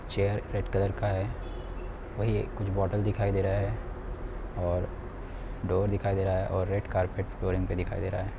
Chair red colour का है| वही कुछ बॉटल दिखाई दे रहा है| और डोर दिखाई दे रहा है और रेड़ कार्पट फ्लोरिंग पर दिखाई दे रहा है।